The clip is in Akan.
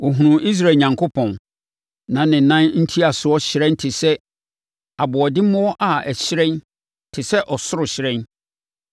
Wɔhunuu Israel Onyankopɔn. Na ne nan ntiasoɔ hyerɛn te sɛ aboɔdemmoɔ a ne hyerɛn te sɛ ɔsoro hyerɛn.